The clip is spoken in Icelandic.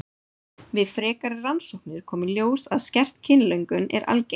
Við frekari rannsóknir kom í ljós að skert kynlöngun er algeng.